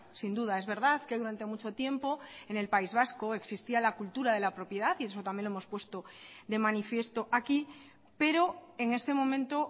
sin duda es verdad que durante mucho tiempo en el país vasco existía la cultura de la propiedad y eso también lo hemos puesto de manifiesto aquí pero en este momento